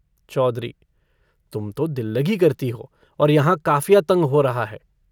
चौधरी - तुम तो दिल्लगी करती हो, और यहाँ काफिया तंग हो रहा है।